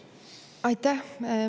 Aitäh!